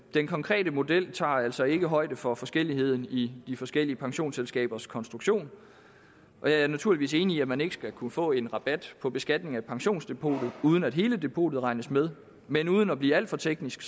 den konkrete model tager altså ikke højde for forskelligheden i i forskellige pensionsselskabers konstruktion jeg er naturligvis enig i at man ikke skal kunne få en rabat på beskatning af pensionsdepotet uden at hele depotet regnes med men uden at blive alt for teknisk